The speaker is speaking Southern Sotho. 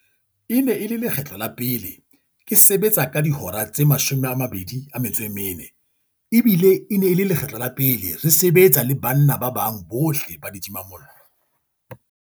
"E ne e le lekgetlo la pele ke sebetsa ka dihora tse 24 ebile e ne e le lekgetlo la pele re se-betsa le banna ba bang bohle ba ditimamollo."